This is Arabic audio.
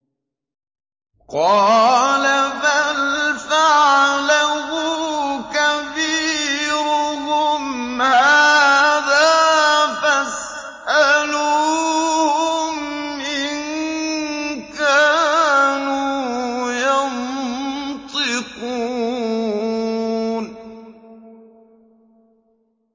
قَالَ بَلْ فَعَلَهُ كَبِيرُهُمْ هَٰذَا فَاسْأَلُوهُمْ إِن كَانُوا يَنطِقُونَ